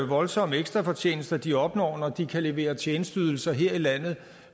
voldsomme ekstrafortjenester de opnår når de kan levere tjenesteydelser her i landet